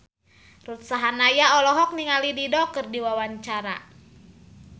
Ruth Sahanaya olohok ningali Dido keur diwawancara